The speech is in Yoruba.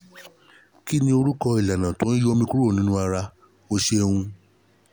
ki ni orúkọ ìlànà tó n yọ omi kúrò ní ara? o ṣeun